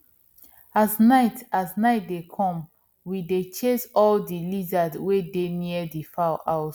as night as night dey come we dey chase all di lizards wey dey near di fowl house